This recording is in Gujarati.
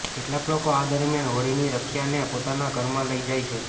કેટલાક લોકો આ દરમિયાન હોળીની રખ્યાને પોતાના ઘરમાં લઈ જાય છે